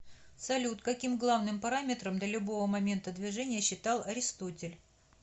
салют каким главным параметром для любого момента движения считал аристотель